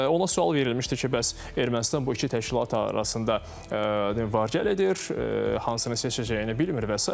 Ona sual verilmişdi ki, bəs Ermənistan bu iki təşkilat arasında var-gəl edir, hansını seçəcəyini bilmir və sair.